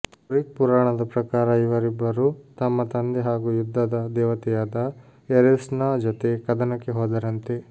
Greek ಪುರಾಣದ ಪ್ರಕಾರ ಇವರಿಬ್ಬರೂ ತಮ್ಮ ತಂದೆ ಹಾಗೂ ಯುದ್ಧದ ದೇವತೆಯಾದ ಏರೆಸ್ನ ಜೊತೆ ಕದನಕ್ಕೆ ಹೋದರಂತೆ